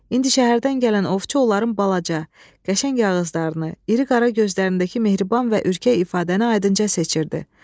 İndi şəhərdən gələn ovçu onların balaca, qəşəng yağızlarını, iri qara gözlərindəki mehriban və ürkək ifadəni aydınca seçirdi.